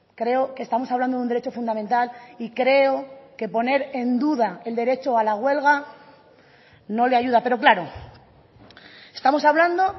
creo que estamos hablando de un derecho fundamental y creo que poner en duda el derecho a la huelga no le ayuda pero claro estamos hablando